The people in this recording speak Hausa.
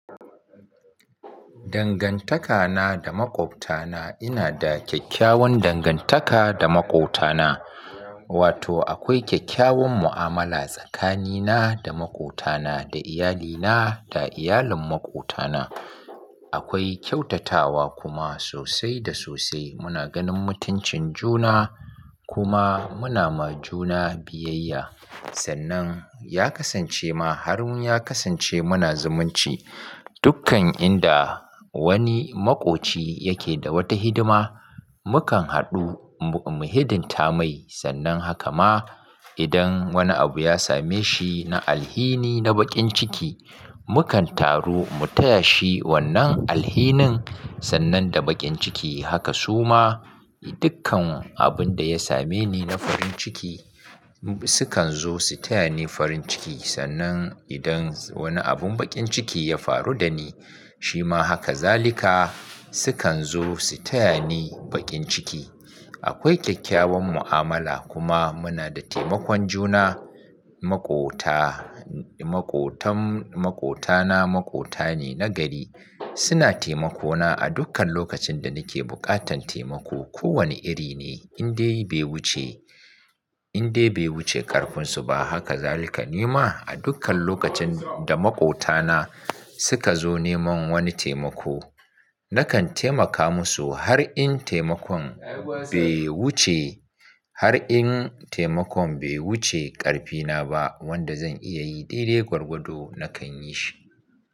Dangantakana da makwabtana ina da kyakkyawan dangantaka da makotana, wato akwai kyakkyawan mu'amala tsakanina da makotana, da iyalina da iyalin makotana. Akwai kyautatawa kuma sosai da sosai. Muna ganin mutuncin juna kuma muna ma juna biyayya. Sannan ya kasance ma har ya kasance muna zumunci. Dukkan inda wani makoci yake da wata hidima, mu kan haɗu mu hidinta mai. Sannan haka ma idan wani abu ya same shi na alhini na baƙin ciki, mu kan taru mu taya shi wannan alhinin. Sannan da baƙin ciki haka su ma dukkan abun da ya same ni na farin ciki su kan zo su taya ni farin ciki. Sannan idan wani abun baƙin ciki ya faru da ni shi ma haka. Zalika sukan zo su taya ni baƙin ciki. Akwai kyakkyawan mu'amala kuma muna da taimakon juna. Makota, makotan makotana makota ne na gari. Suna taimako na a dukkan lokacin da nake buƙatan taimako ko wane iri ne. Indai bai wuce, indai bai wuce ƙarfinsu ba. Haka zalika ni ma a dukkan lokacin da makotana suka zo neman wani taimako, nakan taimaka musu har in taimakon bai wuce, har in taimakon bai wuce ƙarfina ba wanda zan iya yi. Daidai gwargwado na kan yi shi.